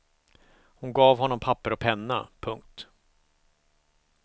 Hon gav honom papper och penna. punkt